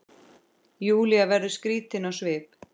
Júlía verður skrítin á svip.